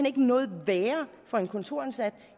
ikke noget værre for en kontoransat